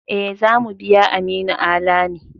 E, za mu biya Aminu Ala ne.